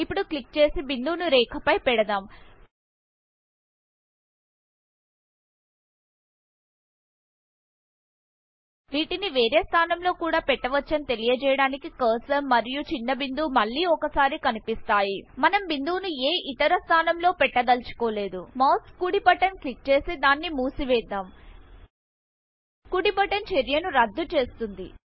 ఇప్పుడు క్లిక్ చేసి బిందువును రేఖ ఫై పెడుదాం వీటిని వేరే స్థానంలో కూడా పెట్టవచ్చని తెలియచేయడానికి కర్సర్ మరియు చిన్న బిందువు మళ్లీ ఒకసారి కనిపిస్తాయి మనం బిందువును ఏ ఇతర స్థానంలో పెట్టదల్చుకోలేదు మౌస్ కుడి బటన్ క్లిక్ చేసి దాన్ని మూసివేద్దాం కుడి బటన్ చర్య ను రద్దు చేస్తుంది